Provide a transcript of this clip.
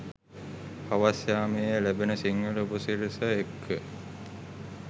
හවස් යාමයේ ලැබෙන සිංහල උපසිරැස එක්ක